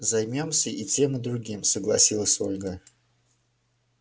займёмся и тем и другим согласилась ольга